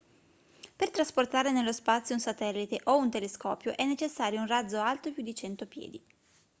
per trasportare nello spazio un satellite o un telescopio è necessario un razzo alto più di 100 piedi